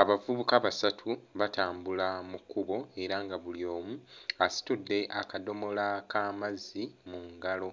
Abavubuka basatu batambula mu kkubo era nga buli omu asitudde akadomola k'amazzi mu ngalo,